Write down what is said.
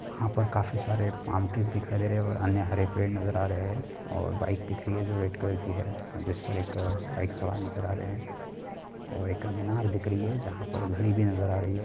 वहाँ पर काफी सारे माउंटेंस दिखाई दे रहे है और अन्य हरे पेड़ नज़र आ रहे है और बाइक दिख रही है जो रेड कलर की है जिस पर एक बाइक सवार नज़र आ रहे है और एक मीनार दिख रही है जहाँ पर घड़ी भी नज़र आ रही है।